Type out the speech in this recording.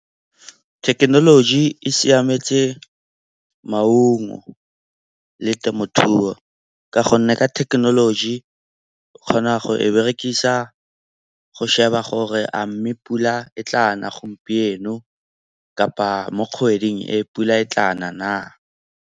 Thekenoloji e siametse maungo le temothuo ka gonne ka thekenoloji o kgona go e berekisa go sheba gore a mme pula e tla na gompieno kapa mo kgweding e pula e tla na na.